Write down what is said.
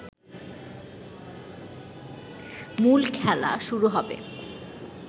মূল খেলা শুরু হবে